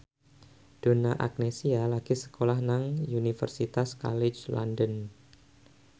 Donna Agnesia lagi sekolah nang Universitas College London